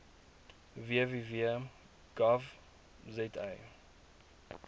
www gov za